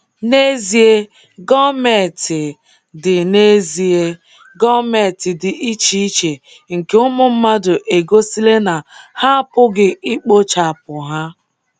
N’ezie, gọọmentị dị N’ezie, gọọmentị dị iche iche nke ụmụ mmadụ egosila na ha apụghị ikpochapụ ha.